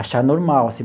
Achar normal.